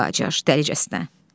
Qacar: Dəlicəsinə.